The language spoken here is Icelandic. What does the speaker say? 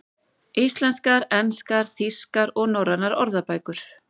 Íslenskar, enskar, þýskar og norrænar orðabækur.